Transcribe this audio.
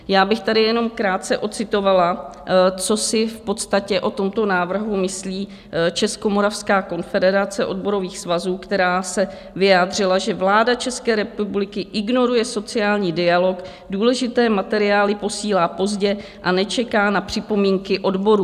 Já bych tady jenom krátce ocitovala, co si v podstatě o tomto návrhu myslí Českomoravská konfederace odborových svazů, která se vyjádřila, že vláda České republiky ignoruje sociální dialog, důležité materiály posílá pozdě a nečeká na připomínky odborů.